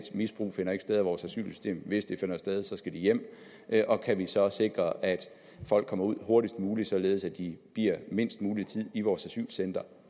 misbrug af vores asylsystem hvis det finder sted skal de hjem og kan vi så sikre at folk kommer ud hurtigst muligt således at de bliver mindst mulig tid i vores asylcentre